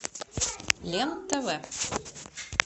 лен тв